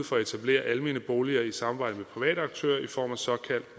for at etablere almene boliger i samarbejde med private aktører i form af såkaldt